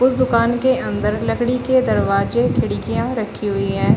उस दुकान के अंदर लकड़ी के दरवाजे खिड़कियां रखी हुई है।